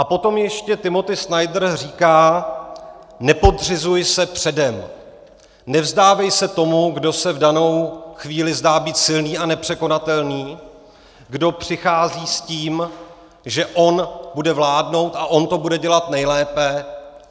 A potom ještě Timothy Snyder říká: Nepodřizuj se předem, nevzdávej se tomu, kdo se v danou chvíli zdá být silný a nepřekonatelný, kdo přichází s tím, že on bude vládnout a on to bude dělat nejlépe.